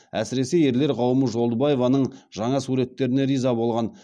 әсіресе ерлер қауымы жолдыбаеваның жаңа суреттеріне риза болған